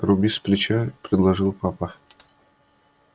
руби сплеча предложил папа